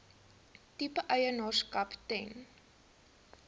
tipe eienaarskap ten